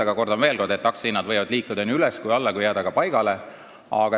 Aga kordan veel kord, et aktsia hind võib liikuda üles ja alla ning jääda ka paigale.